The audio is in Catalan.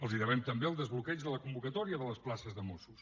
els devem també el desbloqueig de la convocatòria de les places de mossos